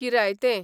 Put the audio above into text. किरायतें